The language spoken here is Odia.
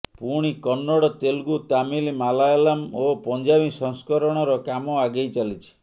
ପୁଣି କନ୍ନଡ଼ ତେଲୁଗୁ ତାମିଲ୍ ମାଲାୟଲାମ୍ ଓ ପଞ୍ଜାବୀ ସଂସ୍କରଣର କାମ ଆଗେଇ ଚାଲିଛି